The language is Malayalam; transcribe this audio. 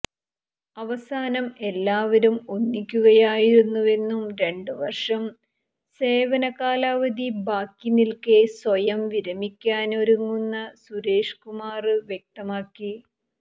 അവസാനം എല്ലാവരും ഒന്നിക്കുകയായിരുന്നുവെന്നും രണ്ടു വർഷം സേവന കാലാവധി ബാക്കിനില്ക്കെ സ്വയം വിരമിക്കാന് ഒരുങ്ങുന്ന സുരേഷ് കുമാര് വ്യക്തമാക്കി